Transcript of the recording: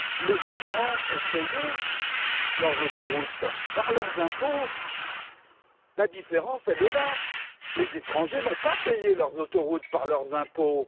Les Allemands ont payé leurs autoroutes par leurs impôts. La différence est là les étrangers n'ont pas payé ces autoroutes par leurs impôts.